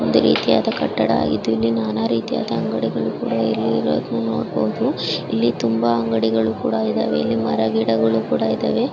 ಒಂದು ರೀತಿಯಾದ ಕಟ್ಟಡ ಇಲ್ಲಿ ನಾನಾ ರೀತಿಯಾದ ಅಂಗಡಿ ಕೂಡ ಇಲ್ಲಿ ನೋಡಬಹುದು ಇಲ್ಲಿ ತುಂಬಾ ಅಂಗಡಿ ಕೂಡ ಇದಾವೆ ಇಲ್ಲಿ ಮರ ಗಿಡಗಳು ಕೂಡ ಇದಾವೆ.